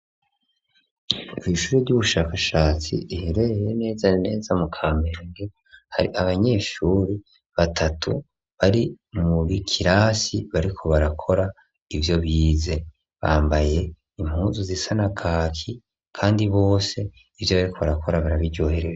Ishure ry'ubushakashatsi riherereye neza neza mu Kamenge, hari abanyeshuri batatu bari mu kirasi bariko barakora ivyo bize, bambaye impunzu zisa na kaki, kandi bose ivyo bariko barakora barabiryoherewe.